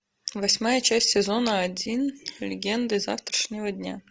восьмая часть сезона один легенды завтрашнего дня